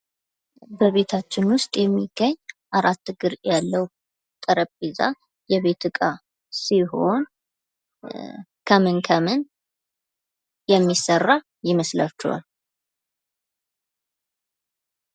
በቤታችን ውስጥ የሚገኝ 4 እግር ያለው ጠረጴዛ የቤት ዕቃ ሲሆን ከምን ከምን የሚሠራ ይመስላችኋል?